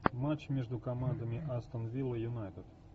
матч между командами астон вилла юнайтед